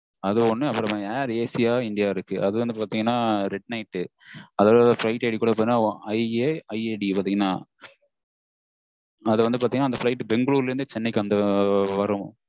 அது ஒன்னு அப்புறம் air asia air india இருக்கு அது வந்து பாத்தீங்கன்னா midnight flight I A I D வந்து பாத்தீங்கன்னா அது பெங்களூரில் இருந்து சென்னை வரும்